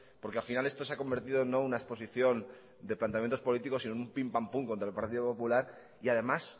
porque al final esto se ha convertido no una exposición de planteamientos políticos sino en un pim pam pum contra el partido popular y además